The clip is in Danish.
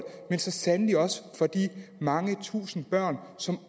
men så sandelig også for de mange tusinde børn som